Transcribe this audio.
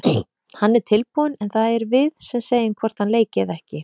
Hann er tilbúinn en það erum við sem segjum hvort hann leiki eða ekki.